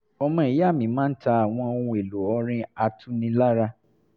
ọmọ ìya mi máa ń ta àwọn ohun èlò ọrin atunilára